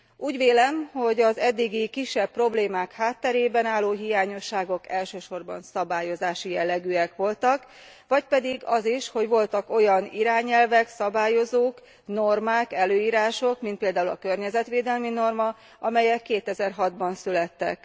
Úgy vélem, hogy az eddigi kisebb problémák hátterében álló hiányosságok elsősorban szabályozási jellegűek voltak, vagy pedig az is, hogy voltak olyan irányelvek, szabályozók, normák, előírások, mint például a környezetvédelmi norma, amelyek 2006 ban születtek.